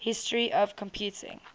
history of computing